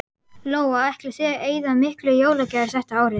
Lóa: Ætlið þið að eyða miklu í jólagjafir þetta árið?